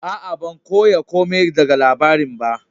Aa, ban koya komi daga labari'n ba.